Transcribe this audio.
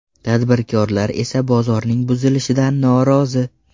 Tadbirkorlar esa bozorning buzilishidan norozi.